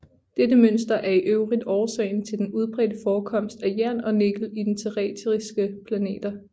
Dette mønster er i øvrigt årsagen til den udbredte forekomst af jern og nikkel i de terrestriske planeter